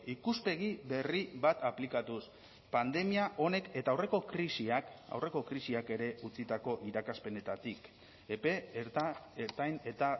ikuspegi berri bat aplikatuz pandemia honek eta aurreko krisiak aurreko krisiak ere utzitako irakaspenetatik epe ertain eta